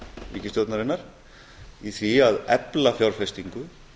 ríkisstjórnarinnar í því að efla fjárfestingu